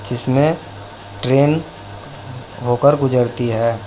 इसमें ट्रेन होकर गुजरती है।